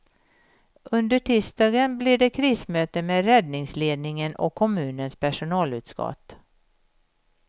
Under tisdagen blir det krismöte med räddningsledningen och kommunens personalutskott.